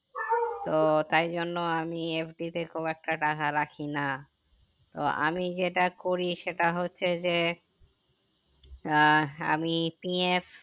তো তাই জন্য আমি FD তে খুব একটা টাকা রাখি না তো আমি যেটা করি সেটা হচ্ছে যে আহ আমি PF